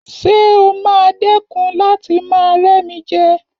Ṣé o máa dẹ̀kun láti máa rẹ́mijẹ?